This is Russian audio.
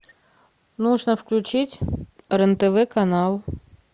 нужно включить рен тв канал